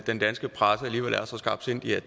den danske presse alligevel er så skarpsindig at